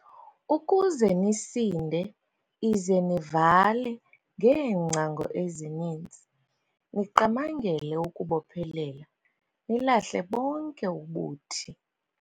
Ukuze nisinde ize nivale ngeengcango ezininzi, niqamangele ukubophelela nilahle bonke ubuthi."